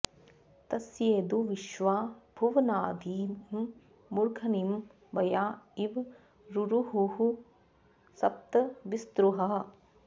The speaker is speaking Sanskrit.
तस्येदु॒ विश्वा॒ भुव॒नाधि॑ मू॒र्धनि॑ व॒या इ॑व रुरुहुः स॒प्त वि॒स्रुहः॑